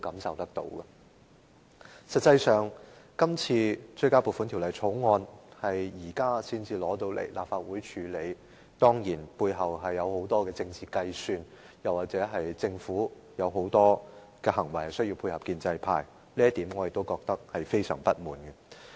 實際上，對於《條例草案》在今天才提交立法會處理，背後當然涉及許多政治計算，甚或是政府有很多行動需要配合建制派，對於這一點，我也感到非常不滿。